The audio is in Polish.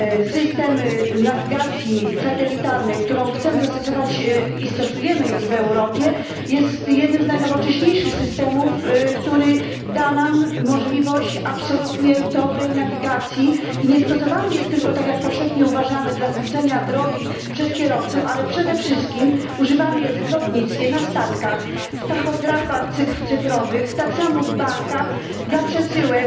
System nawigacji satelitarnej, którą chcemy zastosować i stosujemy już w Europie, jest jednym z najnowocześniejszych systemów, który da nam możliwość absolutnie dobrej nawigacji i nie jest stosowany tylko tak jak powszechnie uważamy dla skrócenia drogi przez kierowców, ale przede wszystkim używany jest w lotnictwie, na statkach, w tachografach cyfrowych, także w bankach dla przesyłek